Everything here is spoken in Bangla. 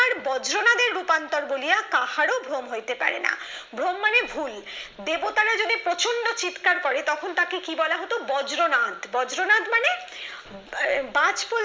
বজ্রনাথের রূপান্তর বলিয়া কাহারো ভ্রম হইতে পারে না। ভ্রম মানে ভুল। দেবতারা যদি প্রচন্ড চিৎকার করে তখন তাকে কি বলা হতো? বজ্রনাদ। বজ্রনাদ মানে? আহ বাজ পড়লে